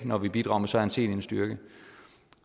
når vi bidrager med så anselig en styrke